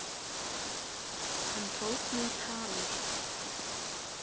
Hann tók mig tali.